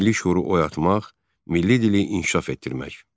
Milli şüuru oyatmaq, milli dili inkişaf etdirmək.